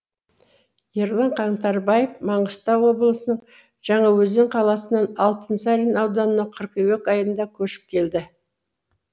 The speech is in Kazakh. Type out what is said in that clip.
ерлан қаңтарбаев маңғыстау облысының жаңаөзен қаласынан алтынсарин ауданына қыркүйек айында көшіп келді